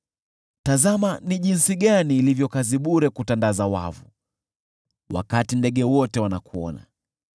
Tazama ni jinsi gani ilivyo kazi bure kutandaza wavu wakati ndege wote wanakuona!